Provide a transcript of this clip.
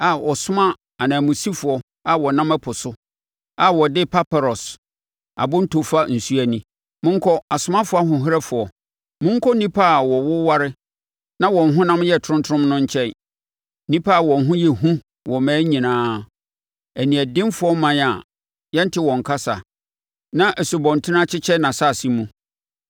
a ɔsoma ananmusifoɔ a wɔnam ɛpo so a wɔde paparɔs abonto fa nsuo ani. Monkɔ, asomafoɔ ahoɔherɛfoɔ, monkɔ nnipa a wɔwoware na wɔn honam yɛ tromtrom no nkyɛn, nnipa a wɔn ho yɛ hu wɔ mmaa nyinaa, aniɛdenfoɔ ɔman a yɛnte wɔn kasa, na nsubɔntene akyekyɛ nʼasase mu.